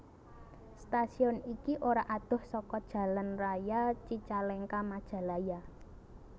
Stasiun iki ora adoh saka jalan raya Cicalengka Majalaya